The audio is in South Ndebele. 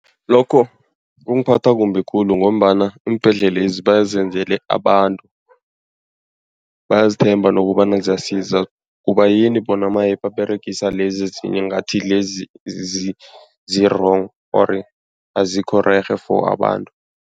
Lokho kungiphatha kumbi khulu ngombana iimbhedlelezi bazenzele abantu. Bayazithemba nokobana ziyasiza, kubayini bona maye baberegisa lezi ezinye ngathi lezi zi-wrong or azikho rerhe for abantu.